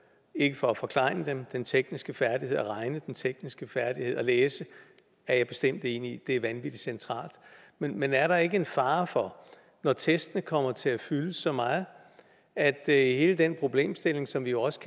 ikke for at forklejne dem den tekniske færdighed at regne den tekniske færdighed at læse er jeg bestemt enig i er vanvittig centrale men er der ikke en fare for når testene kommer til at fylde så meget at hele den problemstilling som vi jo også